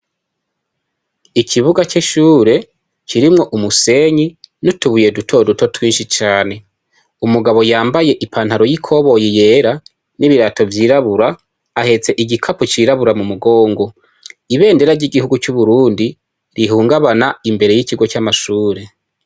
Ikibuga c'ishure, kirimwo umusenyi nutu buye dutoduto twinshi cane. Umugabo yambaye i pantaro y'ikoboyi yera n'ibirato vyirabura, ahetse igikapo c'irabura mu mugongo. Ibendera ry'igihugu c'Uburundi, rihungabana imbere yikigo c'amashure.